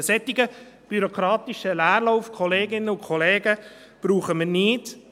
Einen solchen bürokratischen Leerlauf, Kolleginnen und Kollegen, brauchen wir nicht.